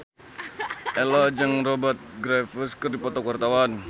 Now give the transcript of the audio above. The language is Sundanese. Ello jeung Rupert Graves keur dipoto ku wartawan